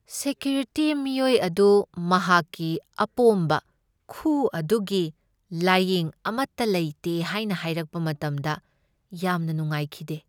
Security ꯃꯤꯑꯣꯏ ꯑꯗꯨ ꯃꯍꯥꯛꯀꯤ ꯑꯄꯣꯝꯕ ꯈꯨ ꯑꯗꯨꯒꯤ ꯂꯥꯌꯦꯡ ꯑꯃꯠꯇ ꯂꯩꯇꯦ ꯍꯥꯏꯅ ꯍꯥꯏꯔꯛꯄ ꯃꯇꯝꯗ ꯌꯥꯝꯅ ꯅꯨꯡꯉꯥꯏꯈꯤꯗꯦ꯫